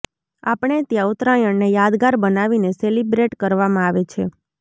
આપણે ત્યાં ઉત્તરાયણને યાદગાર બનાવીને સેલિબ્રેટ કરવામાં આવે છે